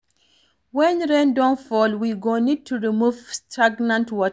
When rain don fall, we go need to remove stagnant water